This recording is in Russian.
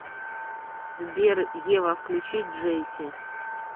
сбер ева включи джейси